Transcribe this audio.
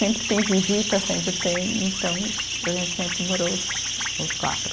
Sempre tem visita, sempre tem, então, a gente sempre morou os, os quatro.